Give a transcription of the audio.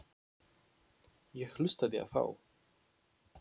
Ég hlustaði á þá.